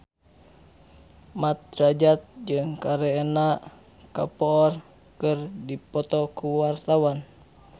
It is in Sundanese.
Mat Drajat jeung Kareena Kapoor keur dipoto ku wartawan